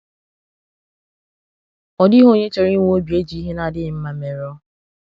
Ọ dịghị onye chọrọ inwe obi e ji ihe na-adịghị mmā merụọ.